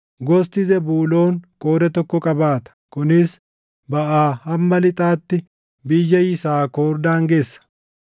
Gosti Zebuuloon qooda tokko qabaata; kunis baʼaa hamma lixaatti biyya Yisaakor daangessa.